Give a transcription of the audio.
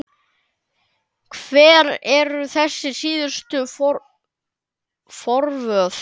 Hver eru þessi síðustu forvöð?